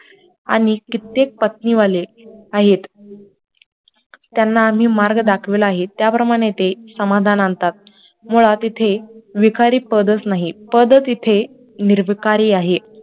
आणि कित्येक पत्नी वाले आहेत, त्यांना आम्ही मार्ग दाखवलेला आहे, त्या प्रमाणे ते समाधान आणतात मुळात इथे विखारी पदच नाहीत, पद तिथे निरभिकारी आहे